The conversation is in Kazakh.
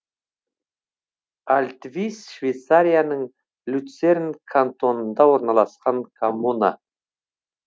альтвис швейцарияның люцерн кантонында орналасқан коммуна